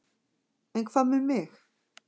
En hvað með mig?